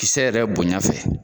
Kisɛ yɛrɛ bonya fɛ